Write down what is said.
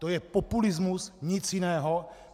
To je populismus, nic jiného.